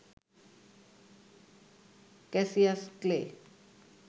Cassius clay